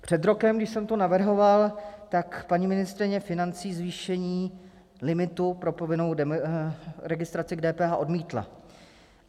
Před rokem, když jsem to navrhoval, tak paní ministryně financí zvýšení limitu pro povinnou registraci k DPH odmítla.